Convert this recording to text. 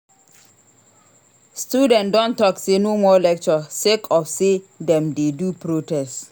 Students don tok sey no more lecture sake of sey dem dey do protest.